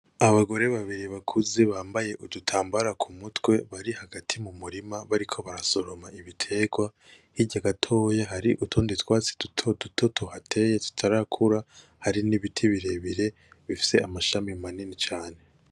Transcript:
Abagore babiri bakuze bambaye udutambaro kumutwe bahagaze hagati mumurima bariko barasoroma ibiterwa hirya gatoye hari utundi twatsi dutoduto tuhateye tutarakura hari n’ibiti birebire bifise amashami manini cane.